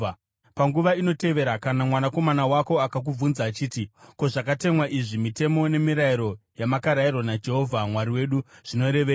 Panguva inotevera, kana mwanakomana wako akakubvunza achiti, “Ko, zvakatemwa izvi, mitemo nemirayiro yamakarayirwa naJehovha Mwari wedu zvinorevei?”